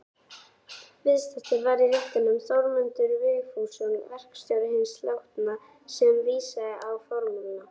Viðstaddur var í réttinum Þórmundur Vigfússon, verkstjóri hins látna, sem vísaði á fjármunina.